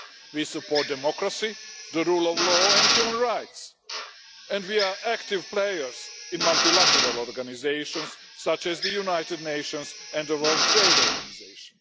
We support democracy, the rule of law and human rights and we are active players in multilateral organisations such as the United Nations and the World Trade Organization.